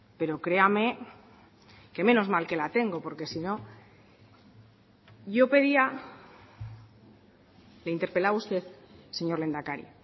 pero créame que menos mal que la tengo porque sino yo pedía le interpelaba a usted señor lehendakari